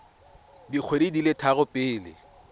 dikgwedi di le tharo pele